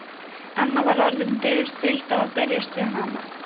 Anna var orðin dauðþreytt á að berjast við hana.